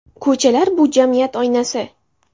Ko‘chalar, bu – jamiyat oynasi.